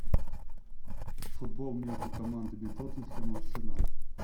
футбол между командами тоттенхэм и арсенал